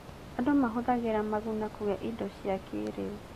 Andũ mahũthagĩra Maguna kũgĩa indo cia kĩĩrĩu.